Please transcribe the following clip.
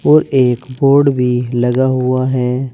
और एक बोर्ड भी लगा हुआ है।